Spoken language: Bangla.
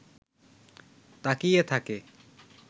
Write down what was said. তাকিয়ে থাকে